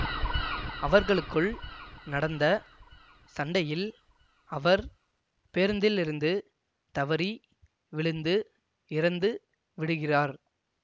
அவர்களுக்குள் நடந்த சண்டையில் அவர் பேருந்திலிருந்து தவறி விழுந்து இறந்து விடுகிறார்